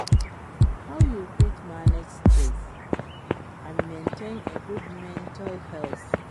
How you fit manage stress and maintain a good mental health?